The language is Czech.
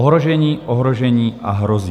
Ohrožení, ohrožení a hrozí.